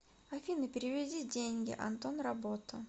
афина переведи деньги антон работа